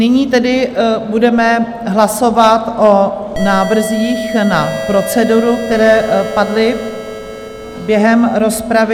Nyní tedy budeme hlasovat o návrzích na proceduru, které padly během rozpravy.